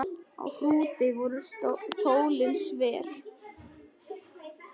Á Hrúti voru tólin sver.